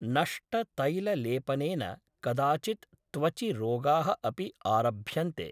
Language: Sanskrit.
नष्टतैललेपनेन कदाचित् त्वचि रोगाः अपि आरभ्यन्ते